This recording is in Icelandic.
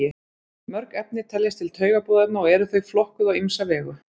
Mörg efni teljast til taugaboðefna og eru þau flokkuð á ýmsa vegu.